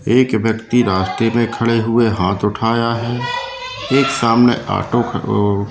एक व्यक्ति रास्ते में खड़े हुए हाथ उठाया है एक सामने ऑटो वो--